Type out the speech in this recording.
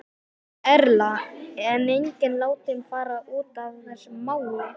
Erla: En enginn látinn fara út af þessu máli?